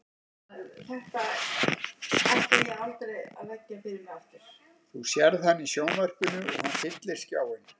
Þú sérð hann í sjónvarpinu og hann fyllir skjáinn.